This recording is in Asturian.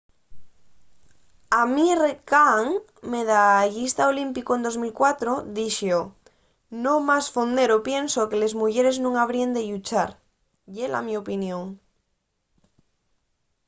amir kahn medallista olímpicu en 2004 dixo no más fondero pienso que les muyeres nun habríen de lluchar. ye la mio opinión